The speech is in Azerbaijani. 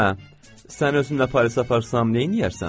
Hə, sən özümlə Parisə aparsam, neynəyərsən?